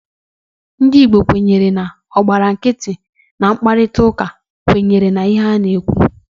Ndị Igbo kwenyere na onye gbara nkịtị oge mkparịtaụka, kwenyere n'ihe a na-ekwu.